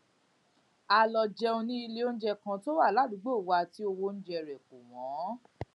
a lọ jẹun ní iléoúnjẹ kan tó wà ládùúgbò wa tí owó rè kò wón